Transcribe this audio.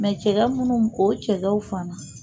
Mɛ cɛgɛ munnu o cɛgɛw fana